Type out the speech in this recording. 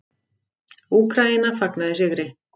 Úkraína fagnaði sigri